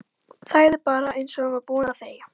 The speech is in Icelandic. Þagði bara eins og hún var búin að þegja.